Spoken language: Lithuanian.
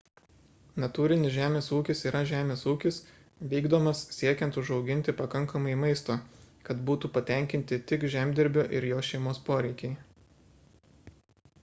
natūrinis žemės ūkis yra žemės ūkis vykdomas siekiant užauginti pakankamai maisto kad būtų patenkinti tik žemdirbio ir jo šeimos poreikiai